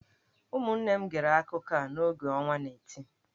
Ụmụnne m gere akụkọ a n’oge ọnwa n'eti.